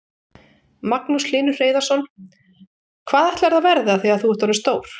Magnús Hlynur Hreiðarsson: Hvað ætlarðu að verða þegar þú ert orðinn stór?